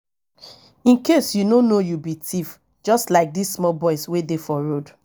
in case you no know you be thief just like dis small boys wey dey for road